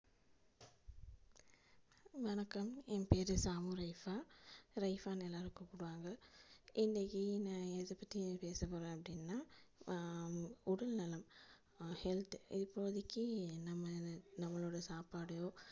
வணக்கம் என் பெயர் சாமு ரெய்பா ரெய்பா னு எல்லாரும் கூப்டுவாங்க இன்னைக்கு நா எதப்பத்தி பேசப்போறேன் அப்டினா ஆஹ் உடல்நலம் health இப்போதிக்கு நம்ம நம்மலோட சாப்பாடோ,